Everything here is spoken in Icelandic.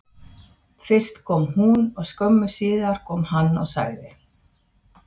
Fyrst kom hún og skömmu síðar kom hann og sagði